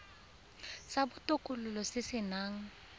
sa botokololo se se nang